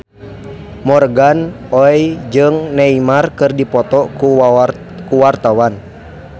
Morgan Oey jeung Neymar keur dipoto ku wartawan